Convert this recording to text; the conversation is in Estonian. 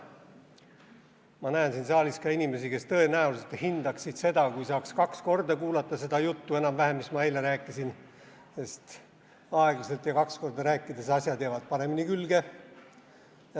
Ma näen siin saalis ka inimesi, kes tõenäoliselt hindaksid seda, kui saaks kaks korda kuulata enam-vähem sama juttu, mis ma eile rääkisin, sest aeglaselt ja kaks korda rääkides jäävad asjad paremini külge.